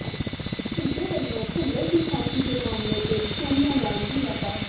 ਸ਼ਿੰਦੇ ਵਲੋਂ ਭੁੱਲਰ ਦੀ ਫਾਂਸੀ ਦੇ ਮਾਮਲੇ ਤੇ ਸੋਨੀਆ ਨਾਲ ਮੁਲਾਕਾਤ